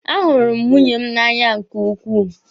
A hụrụ m nwunye m n'anya nke ukwuu.